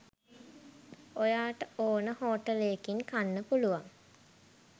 ඔයාට ඕන හෝටලයකින් කන්න පුළුවන්